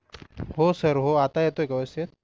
हो सर हो आत्ता येतोय का व्यवस्थित